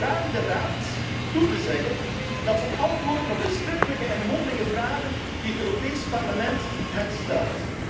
We vragen de Raad toe te zeggen dat ze antwoorden op de schriftelijke en mondelinge vragen die het Europees Parlement hen stelt.